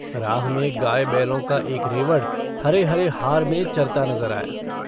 राह में गाय बैलों का एक रेवड़ हरे-हरे हार में चरता नज़र आया।